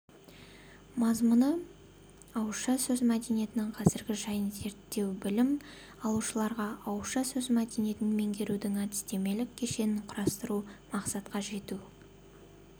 мазмұны ауызша сөз мәдениетінің қазіргі жайын зерттеу білім алушыларға ауызша сөз мәдениетін меңгертудің әдістемелік кешенін құрастыру мақсатқа жетуге